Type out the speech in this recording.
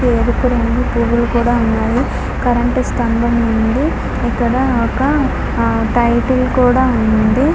ఎరుపు రంగు పువ్వులు కూడా ఉన్నాయి కరెంటు స్తంభం ఉంది. ఇక్కడ ఒక టైటిల్ కూడా ఉంది.